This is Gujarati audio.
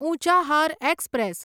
ઉંચાહાર એક્સપ્રેસ